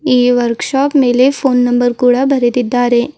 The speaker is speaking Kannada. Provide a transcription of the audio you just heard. ಈ ವರ್ಕ್ ಶಾಪ್ ಮೇಲೆ ಪೋನ್ ನಂಬರ್ ಕೂಡ ಬರೆದಿದ್ದಾರೆ.